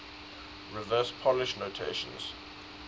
reverse polish notation